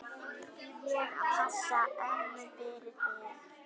Ég passa ömmu fyrir þig.